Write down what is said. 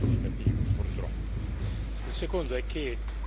Che non ci sia qui è davvero significativo, purtroppo.